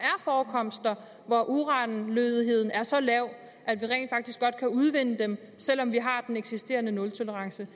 forekomster hvor uranlødigheden er så lav at vi rent faktisk godt kan udvinde det selv om vi har den eksisterende nultolerance